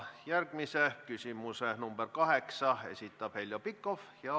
Järgmise küsimuse, number kaheksa, esitab Heljo Pikhof.